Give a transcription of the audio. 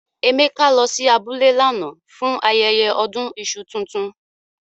Emeka lo si abule lánà fun ayẹyẹ ọdún iṣu tuntun.